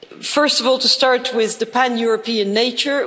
First of all, to start with the pan European nature.